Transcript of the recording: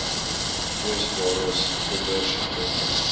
kwesbares kinders jongmense